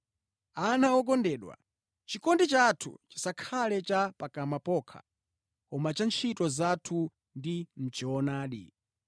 Ana okondedwa, chikondi chathu chisakhale cha pakamwa pokha koma cha ntchito zathu ndi mʼchoonadi.